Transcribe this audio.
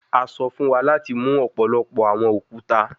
A sọ fun wa lati mu ọpọlọpọ awọn okuta